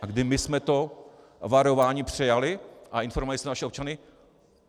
A kdy my jsme to varování přejali a informovali jsme naše občany?